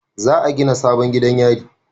Za a gina sabon gidan yari